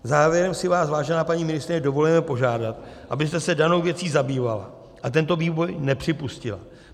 Závěrem si vás, vážená paní ministryně, dovolujeme požádat, abyste se danou věcí zabývala a tento vývoj nepřipustila.